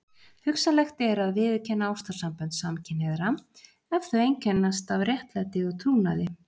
Hugsanlegt er að viðurkenna ástarsambönd samkynhneigðra ef þau einkennast af réttlæti og trúnaði.